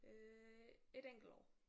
Øh et enkelt år